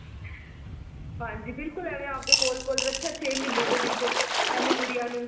ਹਾਂਜੀ ਬਿਲਕੁਲ ਐਵੇਂ ਆਪਦੇ ਦੇ ਕੋਲ ਕੋਲ ਰੱਖਿਆ ਛੇ ਮਹੀਨੇ ਦੇ ਵਿੱਚ ਇਹਨੂੰ ਗੁਡੀਆ ਨੂੰ